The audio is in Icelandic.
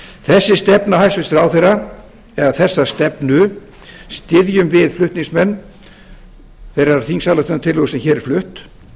þessi stefna hæstvirtur ráðherra eða þessa stefnu styðjum við flutningsmenn þeirrar þingslályktunartillögu sem hér er flutt